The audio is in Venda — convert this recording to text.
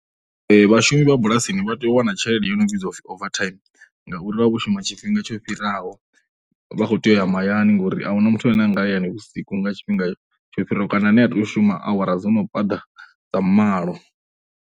Vhashumi vha bulasini vha tea u wana tshelede i no vhidzwa u pfhi over time ngauri vha vha vho shuma tshifhinga tsho fhiraho, vha khou tea u ya mahayani ngori a hu na muthu ane a nga ya hayani vhusiku nga tshifhinga tsho fharaho kana ane a tea u shuma awara dzo no phaḓa dza malo.